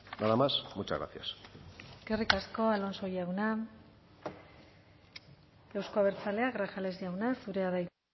nada más muchas gracias eskerrik asko alonso jauna euzko abertzaleak grajales jauna zurea da hitza